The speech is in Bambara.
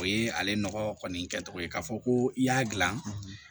O ye ale nɔgɔ kɔni kɛcogo ye k'a fɔ ko i y'a dilan